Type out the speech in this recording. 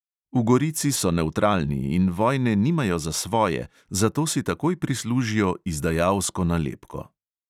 V gorici so nevtralni in vojne nimajo za svoje, zato si takoj prislužijo izdajalsko nalepko.